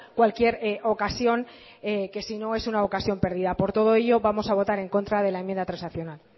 cualquier ocasión que si no es una ocasión perdida por todo ello vamos a votar en contra de la enmienda transaccional